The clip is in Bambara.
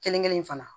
Kelen kelen in fana